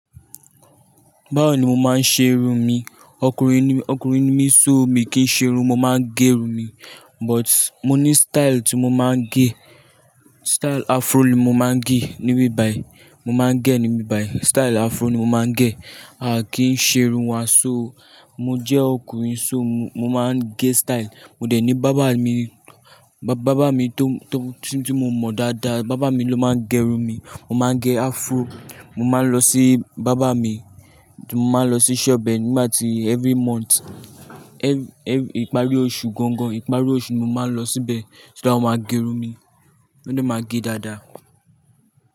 Báwo ni mo máa ń ṣe irun mi? Okùnrin ni, okùnrin ni mí so mi kí n ṣe irun, mo máa ń gẹ irun mi. But mo ní style tí mo máa ń gẹ. Style afro ni mo máa ń gẹ, níbi ìbàì, mo máa ń gẹ níbi ìbàì. Style afro ni mo máa ń gẹ. A kì í ṣe irun aṣọ o. Mo jẹ́ ọkùnrin so mo máa ń gẹ style. Mo dẹ̀ ní bàbá mi, bàbá mi tó, tí mo mọ̀ dáadáa, bàbá mi ló máa ń gẹ irun mi. Mo máa ń gẹ afro, mo máa ń lọ sí bàbá mi. Mo máa ń lọ sí shop ẹ nígbà tí every month. Ìparí oṣù gangan, ìparí oṣù ni mo máa ń lọ síbẹ̀, o máa gẹ irun mi. Ó dẹ̀ máa gẹ dáadáa.